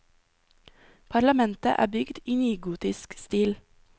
Parlamentet er bygd i nygotisk stil.